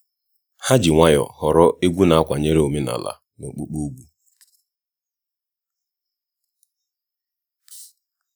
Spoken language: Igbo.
ha ji nwayọọ họrọ egwu na-akwanyere omenala na okpukpe ùgwù